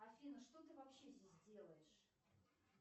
афина что ты вообще здесь делаешь